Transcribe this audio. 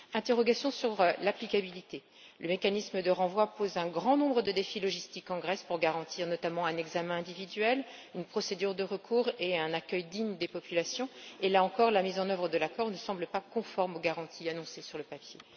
Des interrogations sur l'applicabilité le mécanisme de renvoi pose un grand nombre de problèmes logistiques en Grèce, notamment pour garantir un examen individuel, une procédure de recours et un accueil digne des populations. Là encore, la mise en œuvre de l'accord ne semble pas conforme aux garanties annoncées sur le papier.